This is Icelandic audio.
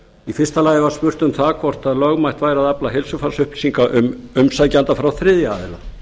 í fyrsta lagi var spurt um það hvort lögmætt væri að afla heilsufarsupplýsinga um umsækjanda frá þriðja aðila